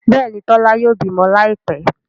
Béèni Tola yóò bímọ Láìpé.